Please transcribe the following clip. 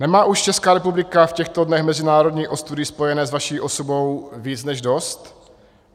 Nemá už Česká republika v těchto dnech mezinárodní ostudy spojené s vaší osobou víc než dost?